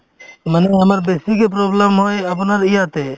মানে আমাৰ বেছিকে problem হয় আপোনাৰ ইয়াতে